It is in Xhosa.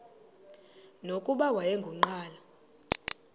nokuba wayengu nqal